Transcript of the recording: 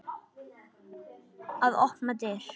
Að opna dyr.